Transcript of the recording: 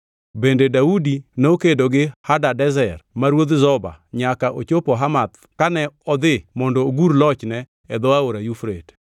Bende Daudi nokedo gi Hadadezer ma ruodh Zoba nyaka ochopo Hamath kane odhi mondo ogur lochne e dho Aora Yufrate.